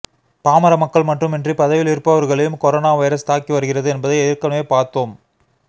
பாமர மக்கள் மட்டுமின்றி பதவியில் இருப்பவர்களையும் கொரோனா வைரஸ் தாக்கி வருகிறது என்பதை ஏற்கனவே பார்த்தோம்